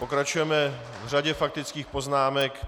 Pokračujeme v řadě faktických poznámek.